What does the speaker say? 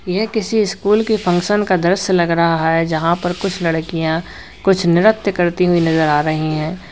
यह किसी स्कूल की फंक्शन का दृश्य लग रहा है यहां पर कुछ लड़कियां कुछ नृत्य करती हुई नजर आ रही हैं।